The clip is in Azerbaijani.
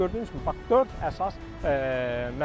Gördüyünüz kimi, dörd əsas məsələdir.